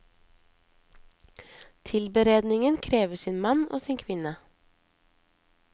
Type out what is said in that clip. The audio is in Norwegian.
Tilberedningen krever sin mann, og sin kvinne.